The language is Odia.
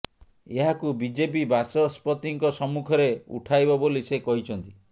ଏହାକୁ ବିଜେପି ବାଚସ୍ପତିଙ୍କ ସମ୍ମୁଖରେ ଉଠାଇବ ବୋଲି ସେ କହିଛନ୍ତି